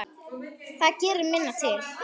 Það gerir minna til.